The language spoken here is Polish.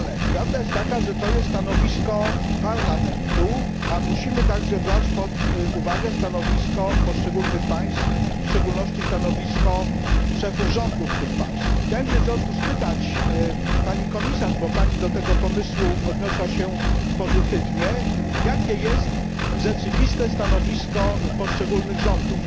Prawda jest taka, że to jest stanowisko Parlamentu, a musimy także brać pod uwagę stanowisko poszczególnych państw, w szczególności stanowisko szefów rządów tych państw. Chciałem się w związku z tym spytać Pani Komisarz, bo Pani odniosła się do tego pomysłu pozytywnie, jakie jest stanowisko rzeczywiste poszczególnych rządów?